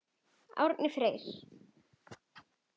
Árni Freyr.